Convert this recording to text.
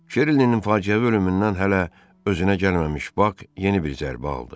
Şerlinin faciəvi ölümündən hələ özünə gəlməmiş Bak yeni bir zərbə aldı.